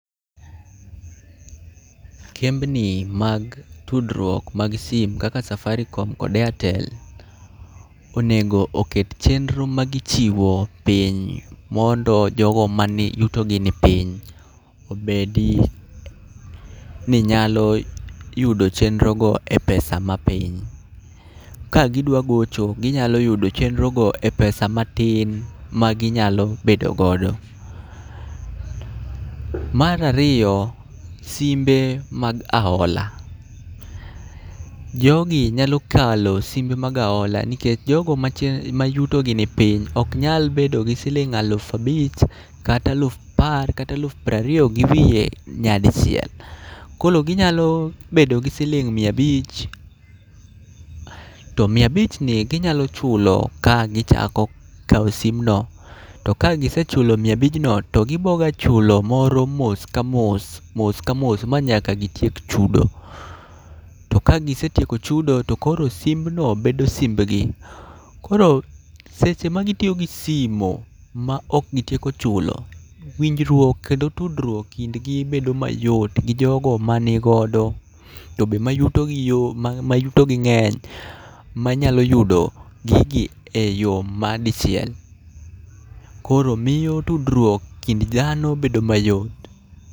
Kembni mag tudruok mag sim kaka Safaricom kod Airtel onego oket chenro ma gichiwo piny. Mondo jogo mani yutogi ni piny, obedi ni nyalo yudo chenro go e pesa ma piny. Ka gidwa gocho, ginyalo yudo chenrogo e pesa matin ma ginyalo bedo godo. Marariyo, simbe mag ahola. Jogi nyalo kalo simbe mag aola nikech jogo mach ma yutogi ni piny ok nyal bedo gi siling' alufabich, kata aluf apar kata aluf prariyo gi wiye nyadi chiel. Koro ginyalo bedo gi siling' miabich. To miabich ni ginyalo chulo ka gichako kawo sim no. To ka gisechulo mia abijno to giboga chulo moro mos ka mos, mos ka mos ma nyaka gitiek chudo. To ka gisetieko chudo to koro simbno bedo simbgi. Koro seche ma gitiyo gi simo ma ok gitieoko chulo, winjruok kendo tudruok e kindgi bedo mayot gi jogo ma ni godo. To be ma yuto gi yo, ma yutogi ng'eny, manyalo yudo gigi e yo ma dicchiel. Koro miyo tudruok kind dhano bedo mayot.